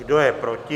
Kdo je proti?